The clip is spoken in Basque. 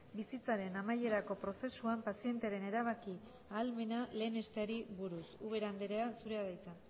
bizitzaren amaierako prozesuan pazientearen erabaki ahalmena lehenesteari buruz ubera andrea zurea da hitza